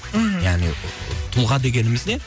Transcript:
мхм яғни тұлға дегеніміз не